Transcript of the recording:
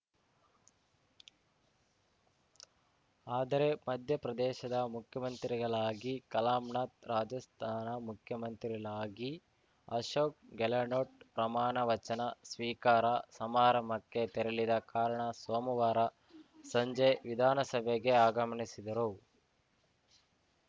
ಆದರೆ ಮಧ್ಯಪ್ರದೇಶದ ಮುಖ್ಯಮಂತ್ರಿಗಳಾಗಿ ಕಲಾಮ್ ನಾಥ್‌ ರಾಜಸ್ಥಾನ ಮುಖ್ಯಮಂತ್ರಿಲಾಗಿ ಅಶೋಕ್‌ ಗೆಲಾಳ್ಹೋಟ್‌ ಪ್ರಮಾಣವಚನ ಸ್ವೀಕಾರ ಸಮಾರಂಭಕ್ಕೆ ತೆರಳಿದ ಕಾರಣ ಸೋಮುವಾರ ಸಂಜೆ ವಿಧಾನಸಭೆಗೆ ಆಗಮನಿಸಿದರು